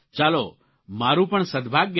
ચાલો મારૂં પણ સદભાગ્ય છે